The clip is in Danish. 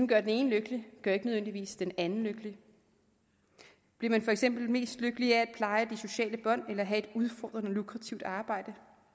gør den ene lykkelig gør ikke nødvendigvis den anden lykkelig bliver man for eksempel mest lykkelig af at pleje de sociale bånd eller at have et udfordrende lukrativt arbejde